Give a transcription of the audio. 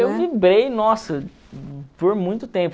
Eu vibrei, nossa, por muito tempo.